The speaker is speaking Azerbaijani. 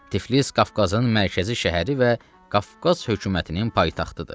Tiflis Qafqazın mərkəzi şəhəri və Qafqaz hökumətinin paytaxtıdır.